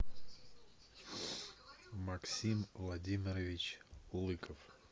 максим владимирович лыков